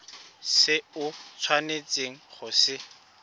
se o tshwanetseng go se